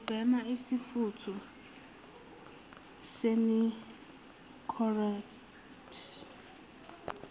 ubhema isifutho senicorette